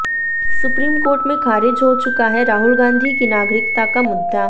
supreme court में खारिज हो चुका है राहुल गांधी की नागरिकता का मुद्दा